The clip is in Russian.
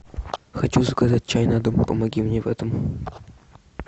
хочу заказать чай на дом помоги мне в этом